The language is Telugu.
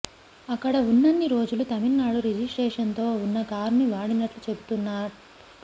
అక్కడ ఉన్నన్ని రోజులు తమిళనాడు రిజిస్టేషన్తో ఉన్న కారును వాడినట్లు చెబుతున్నారు